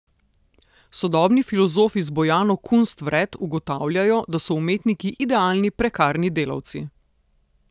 Sodobni filozofi z Bojano Kunst vred ugotavljajo, da so umetniki idealni prekarni delavci.